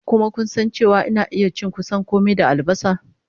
Kuma kun san cewa ina iya cin kusan kome da albasa?